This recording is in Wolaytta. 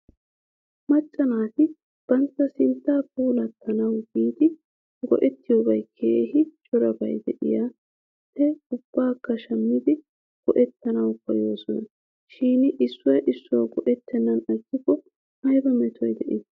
Macca naati batta sinttaa puulatanawu giidi go'ettiyoobay keehi corabay de'iyaa he ubbaakka shammidi go"ettanawu koyoosona shin issuwaa issuwa go'ettennan agiigikko ayba metoy de'ii?